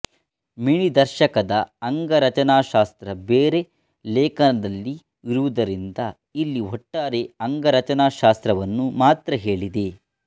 ಮಿಣಿದರ್ಶಕದ ಅಂಗರಚನಾಶಾಸ್ತ್ರ ಬೇರೆ ಲೇಖನದಲ್ಲಿ ಇರುವುದರಿಂದ ಇಲ್ಲಿ ಒಟ್ಟಾರೆ ಅಂಗರಚನಾಶಾಸ್ತ್ರವನ್ನು ಮಾತ್ರ ಹೇಳಿದೆ